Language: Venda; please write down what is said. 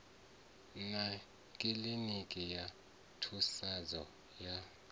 na kiḽiniki ya thusedzo ya